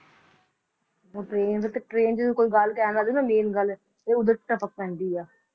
ਉਹ train ਦਾ ਤੇ train ਜਦੋਂ ਕੋਈ ਗੱਲ ਕਹਿੰਦਾ ਨਾ main ਗੱਲ ਤੇ ਉਦੋਂ ਟਪਕ ਪੈਂਦੀ ਆ,